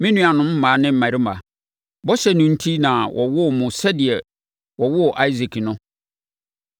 Me nuanom mmaa ne mmarima, bɔhyɛ no enti na wɔwoo mo sɛdeɛ wɔwoo Isak no.